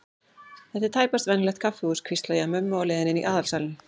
Þetta er tæpast venjulegt kaffihús, hvísla ég að mömmu á leiðinni inn í aðalsalinn.